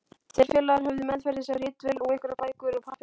Þeir félagar höfðu meðferðis ritvél og einhverjar bækur og pappíra.